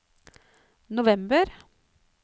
november